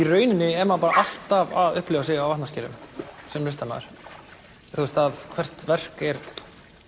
rauninni er maður alltaf að upplifa sig á vatnaskilum sem listamaður hvert verk er